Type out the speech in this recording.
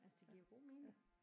Altså det giver jo god mening